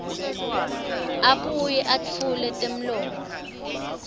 abuye etfule temlomo